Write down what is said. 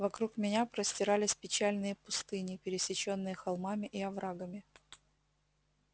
вокруг меня простирались печальные пустыни пересечённые холмами и оврагами